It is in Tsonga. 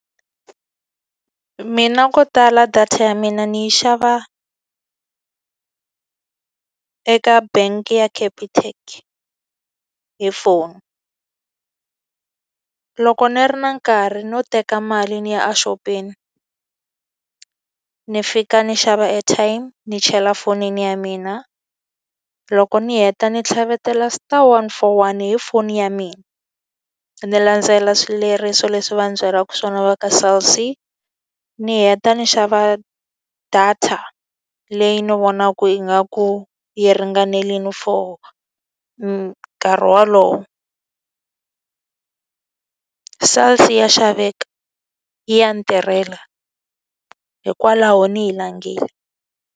Mina ko tala data ya mina ni yi xava eka bangi ya Capitec hi foni. Loko ni ri na nkarhi no teka mali ndzi ya exopeni, ni fika ni xava airtime ni chela fonini ya mina, loko ni heta ni tlhavetela star one four one hi foni ya mina. Ndzi landzelela swileriso leswi va byeriwaka swona va ka Cell C ni heta ni xava data leyi ni vonaka ingaku yi ringanelile for nkarhi wolowo. Cell C ya xaveka, ya ni ntirhela, hikwalaho ni yi langile.